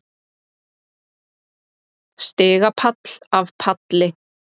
Stigapall af palli.